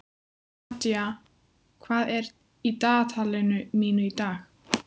Nadja, hvað er í dagatalinu mínu í dag?